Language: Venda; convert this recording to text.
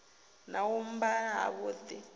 na u mba ha vhudi